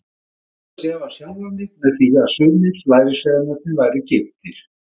Ég reyndi að sefa sjálfan mig með því að sumir lærisveinarnir væru giftir.